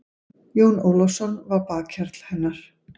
Jón Ólafsson var bakhjarl hennar.